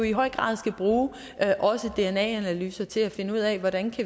i høj grad skal bruge også dna analyser til at finde ud af hvordan